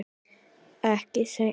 Ekki seinna.